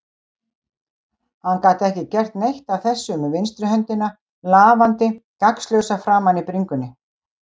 Hann gat ekki gert neitt af þessu með vinstri höndina lafandi gagnslausa framan á bringunni.